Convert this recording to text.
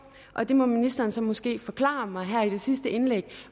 og det må ministeren så måske forklare mig her i det sidste indlæg